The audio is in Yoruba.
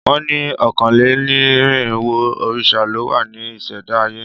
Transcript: Wọ́n ni ọ̀kánlénírinwó òrìṣà ló wá ní ìṣẹ̀dá ayé